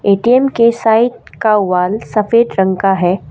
ATM के side का wall सफेद रंग का है।